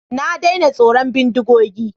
Na daina tsoron bindigogi.